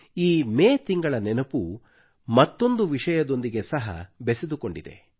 ಈ ಮೇ ತಿಂಗಳ ನೆನಪು ಮತ್ತೊಂದು ವಿಷಯದೊಂದಿಗೆ ಸಹ ಬೆಸೆದುಕೊಂಡಿದೆ